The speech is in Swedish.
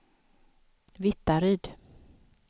Vittaryd